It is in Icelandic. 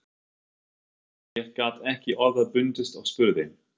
Þar til ég gat ekki orða bundist og spurði